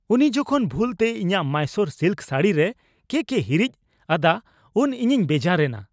ᱩᱱᱤ ᱡᱚᱠᱷᱚᱱ ᱵᱷᱩᱞ ᱛᱮ ᱤᱧᱟᱹᱜ ᱢᱟᱭᱥᱳᱨ ᱥᱤᱞᱠ ᱥᱟᱹᱲᱤᱨᱮ ᱠᱮᱠᱼᱮ ᱦᱤᱨᱤᱪ ᱟᱫᱟ ᱩᱱ ᱤᱧᱤᱧ ᱵᱮᱡᱟᱨ ᱮᱱᱟ ᱾